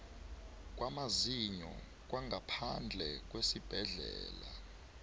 kwamazinyo kwangaphandle kwesibhedlela